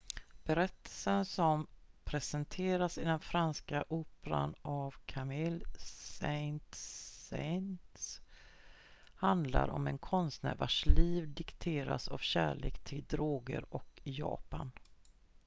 "berättelsen som presenteras i den franska operan av camille saint-saens handlar om en konstnär "vars liv dikteras av kärlek till droger och japan.""